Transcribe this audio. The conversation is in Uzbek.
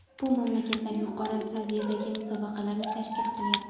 Bu mamlakatlar yuqori saviyadagi musobaqalarni tashkil qilyapti.